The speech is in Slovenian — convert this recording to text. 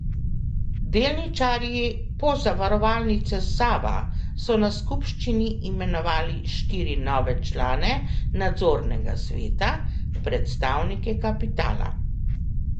Delničarji Pozavarovalnice Sava so na skupščini imenovali štiri nove člane nadzornega sveta, predstavnike kapitala.